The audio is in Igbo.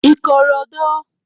ikorodo